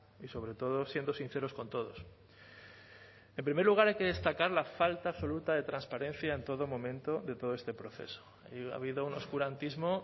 y sobre todo siendo sinceros con todos en primer lugar hay que destacar la falta absoluta de transparencia en todo momento de todo este proceso ha habido un oscurantismo